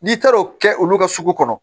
N'i taar'o kɛ olu ka sugu kɔnɔ